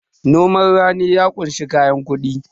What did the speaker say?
noman rani ya kunshi kayan kudi